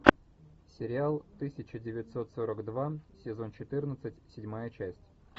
сериал тысяча девятьсот сорок два сезон четырнадцать седьмая часть